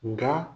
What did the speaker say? Nga